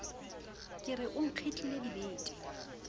ke re o nkgitlile dibete